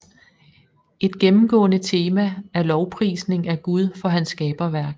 Et gennemgående tema er lovprisning af Gud for hans skaberværk